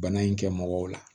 Bana in kɛ mɔgɔw la